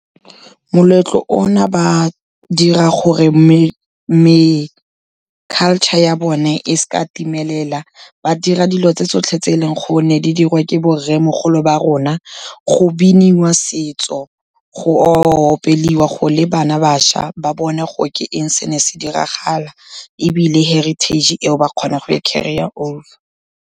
Moletlo o na, ba dira gore culture ya bone e seka ya timelela, ba dira dilo tse tsotlhe tse e leng gonne di diriwa ke bo rremogolo ba rona, go boniwa setso, go oa opeliwa, go le bana bašwa, ba bone gore ke eng se ne se diragala, ebile heritage eo ba kgona go e carry-a over.